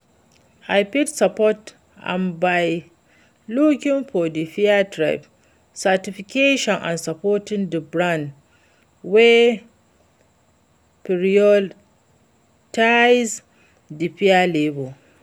i fit support am by looking for di fair trade certifications and support di brands wey prioritize di fair labor.